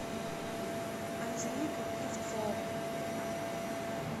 анжеликой клевцовой